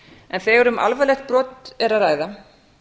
en þegar um alvarlegt brot er að ræða